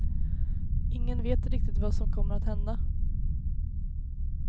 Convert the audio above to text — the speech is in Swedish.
Ingen vet riktigt vad som kommer att hända.